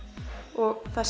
og þá